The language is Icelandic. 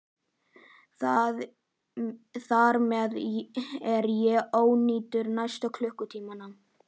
Þar með er ég ónýtur næstu klukkutímana.